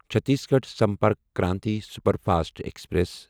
Chhattisgarh Sampark Kranti superfast express